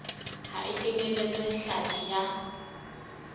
ha e kenyeletse hlapi ya